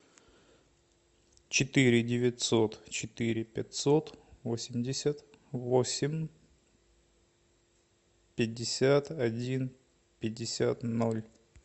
четыре девятьсот четыре пятьсот восемьдесят восемь пятьдесят один пятьдесят ноль